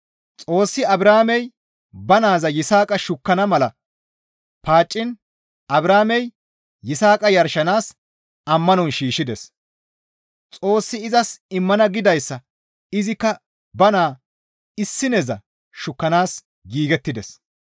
Xoossi Abrahaamey ba naaza Yisaaqa shukkana mala paacciin Abrahaamey Yisaaqa yarshanaas ammanon shiishshides; Xoossi izas immana gidayssa izikka ba naa issineza shukkanaas giigettides.